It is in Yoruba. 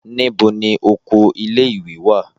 Níbo ni oko ilé-ìwé wà?